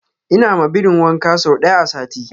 ina ma birin wanka sau daya a sati